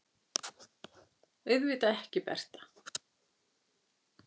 Auðvitað ekki, Bertha.